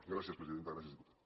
gràcies presidenta gràcies diputat